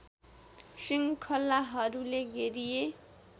श्रृङ्खलाहरूले घेरिए